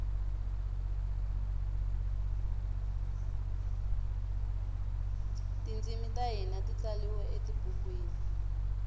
tintshimi tahhina titsaliwe etibhukwini